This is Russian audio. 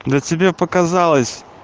да тебе показалось